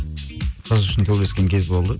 қыз үшін төбелескен кез болды